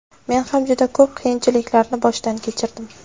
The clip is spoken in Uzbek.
Men ham juda ko‘p qiyinchiliklarni boshdan kechirdim.